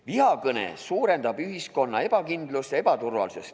Vihakõne suurendab ühiskonna ebakindlust ja ebaturvalisust.